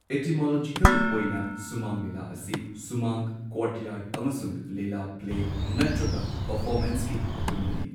Etymological ꯑꯣꯏꯅ ꯁꯨꯃꯥꯡ ꯂꯤꯂꯥ ꯑꯁꯤ ꯁꯨꯃꯥꯡ ꯀꯣꯔꯠꯌꯥꯔꯗ ꯑꯃꯁꯨꯡ ꯂꯤꯂꯥ ꯄ꯭ꯂꯦ ꯅꯠꯇ꯭ꯔꯒ ꯄꯔꯐꯣꯃꯦꯟꯁ ꯀꯤ ꯑꯄꯨꯟꯕꯅꯤ꯫